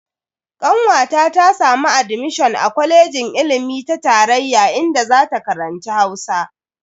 Kanwata ta samu admishon a kwalejin ilimi ta tarayya inda zata karanci Hausa.